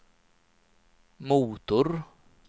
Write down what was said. motor